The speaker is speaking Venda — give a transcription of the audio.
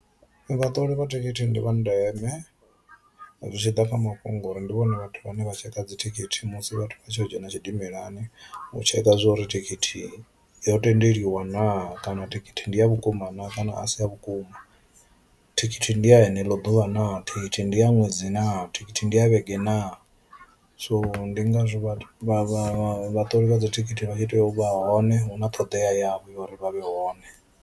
Vhaṱoli vha thikhithi ndi vha ndeme zwi tshi ḓa kha mafhungo uri ndi vhone vhathu vhane vha tshekha dzithikhithi musi vhathu vha tshi yo dzhena tshidimelani u tshekha zwa uri thikhithi yo tendeliwa naa kana thikhithi ndi ya a vhukuma naa kana a si ya vhukuma. Thikhithi ndi ya heneḽo ḓuvha naa, thikhithi ndi ya ṅwedzi naa, thikhithi ndi ya vhege naa, so ndi nga zwo vha vha vhaṱoli vha dzi thikhithi vha tshi tea u vha hone hu na ṱhoḓea yavho ya uri vha vhe hone.